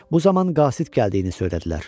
Bu zaman Qasid gəldiyini söylədilər.